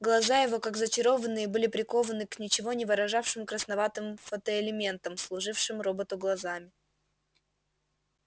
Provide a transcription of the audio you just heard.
глаза его как зачарованные были прикованы к ничего не выражавшим красноватым фотоэлементам служившим роботу глазами